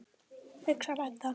hugsar Edda.